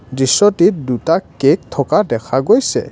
দৃশ্যটোত দুটা কেক থকা দেখা গৈছে।